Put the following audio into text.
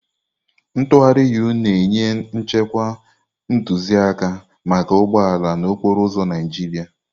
atụgharị-U na-enye nchekwa ntụzịaka maka ụgbọ ala n'okporo ụzọ Naịjirịa.